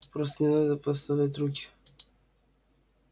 просто не надо подставлять руки